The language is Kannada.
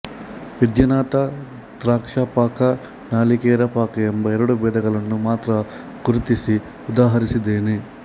ವಿದ್ಯಾನಾಥ ದ್ರಾಕ್ಷಾಪಾಕ ನಾಲಿಕೇರ ಪಾಕ ಎಂಬ ಎರಡು ಭೇದಗಳನ್ನು ಮಾತ್ರ ಗುರ್ತಿಸಿ ಉದಾಹರಿಸಿದ್ದಾನೆ